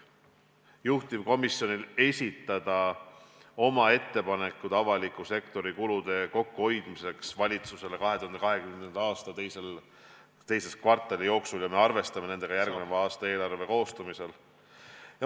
... juhtivkomisjon esitab valitsusele oma ettepanekud avaliku sektori kulude kokkuhoidmiseks 2020. aasta teise kvartali jooksul ja me arvestame nendega järgmise aasta eelarve koostamisel.